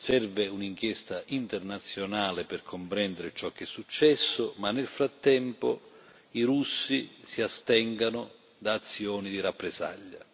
Serve un'inchiesta internazionale per comprendere ciò che è successo ma nel frattempo i russi si astengano da azioni di rappresaglia.